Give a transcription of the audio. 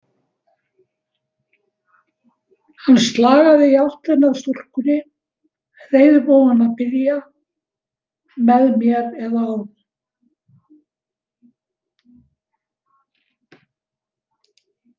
Hann slagaði í áttina að stúlkunni, reiðubúinn að byrja, með mér eða án.